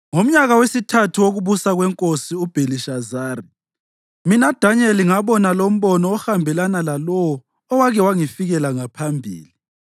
Ngomnyaka wesithathu wokubusa kwenkosi uBhelishazari mina Danyeli ngaba lombono ohambelana lalowo owake wangifikela ngaphambili.